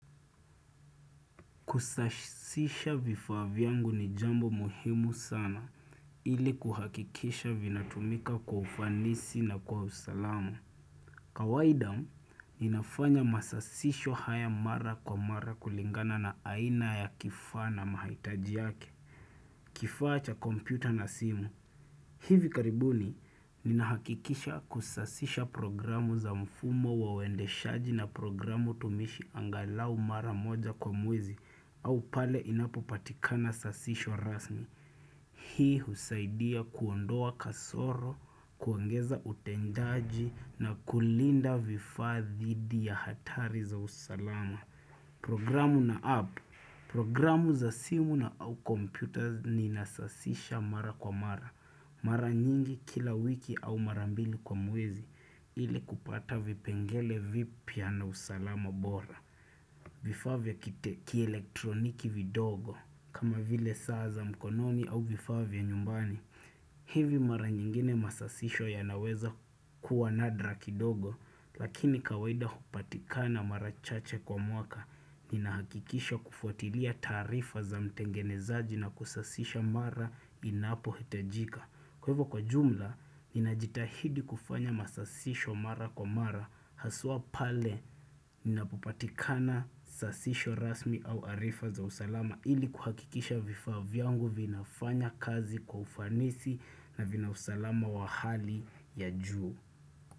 Kusasisha vifaa vyangu ni jambo muhimu sana ili kuhakikisha vinatumika kwa ufanisi na kwa usalamu kawaida ninafanya masasisho haya mara kwa mara kulingana na aina ya kifaa na mahaitaji yake Kifaa cha kompyuta na simu hivi karibuni, ninahakikisha kusasisha programu za mfumo wa wendeshaji na programu tumishi angalau mara moja kwa mwwezi au pale inapopatikana sasisho rasmi. Hii husaidia kuondoa kasoro, kuongeza utendaji na kulinda vifaa dhidi ya hatari za usalama. Programu na app, programu za simu na au kompyuta ninasasisha mara kwa mara. Mara nyingi kila wiki au mara mbili kwa mwezi ili kupata vipengele vipya na usalama bora. Vifaa vya kielektroniki vindogo kama vile saa za mkononi au vifaa vya nyumbani. Hivi mara nyingine masasisho yanaweza kuwa nadra kindogo lakini kawaida hupatikana mara chache kwa mwaka. Ninahakikisha kufuatilia tarifa za mtengenezaji na kusasisha mara inapohitajika. Kwa hivyo kwa jumla, ninajitahidi kufanya masasisho mara kwa mara, haswa pale linapopatikana sasisho rasmi au arifa za usalama ili kuhakikisha vifaa vyangu vinafanya kazi kwa ufanisi na vina usalama wa hali ya juu.